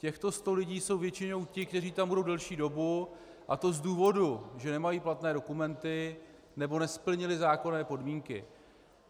Těchto 100 lidí jsou většinou ti, kteří tam budou delší dobu, a to z důvodu, že nemají platné dokumenty nebo nesplnili zákonné podmínky.